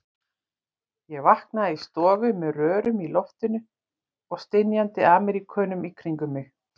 Ég vaknaði í stofu með rörum í loftinu og stynjandi Ameríkönum í kringum mig.